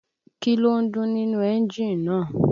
Kí ló ń dún nínú ẹ́ńjì náà